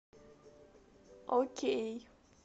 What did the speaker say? окей